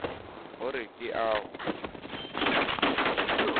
ho re ke a o